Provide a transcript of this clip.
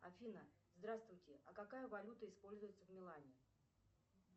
афина здравствуйте а какая валюта используется в милане